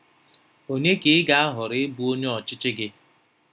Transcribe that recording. Onye ka ị ga-ahọrọ ịbụ onye ọchịchị gị?